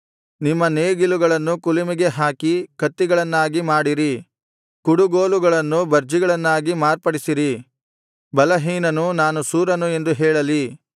ನಿಮ್ಮ ನೇಗಿಲುಗಳನ್ನು ಕುಲುಮೆಗೆ ಹಾಕಿ ಕತ್ತಿಗಳನ್ನಾಗಿ ಮಾಡಿರಿ ಕುಡುಗೋಲುಗಳನ್ನು ಭರ್ಜಿಗಳನ್ನಾಗಿ ಮಾರ್ಪಡಿಸಿರಿ ಬಲಹೀನನು ನಾನು ಶೂರನು ಎಂದು ಹೇಳಲಿ